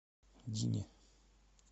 дине